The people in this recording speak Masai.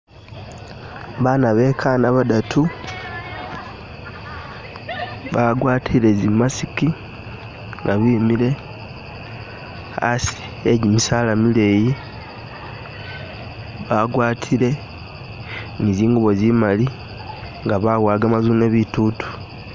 Bana bekana badatu bagwatile zi’mask nga bimile asi agimisaala mileeyi bagwatile ni zingubo zimali nga babowa gamazune bitutu.